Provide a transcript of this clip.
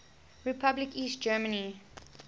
republic east germany